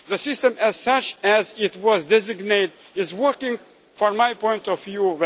system. The system as such, as it was designed, is working well from my point